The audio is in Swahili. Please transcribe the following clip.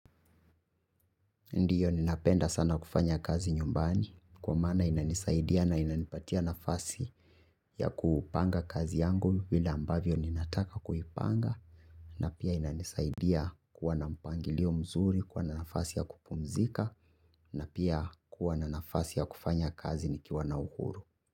Ndio, ninapenda sana kufanya kazi nyumbani kwa maana inanisaidia na inanipatia nafasi ya kupanga kazi yangu vile ambavyo ninataka kuipanga na pia inanisaidia kuwa na mpangilio mzuri, kuwa na nafasi ya kupumzika na pia kuwa na nafasi ya kufanya kazi nikiwa na uhuru.